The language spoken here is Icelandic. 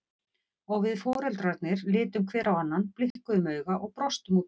Og við foreldrarnir litum hver á annan, blikkuðum auga og brostum út í annað.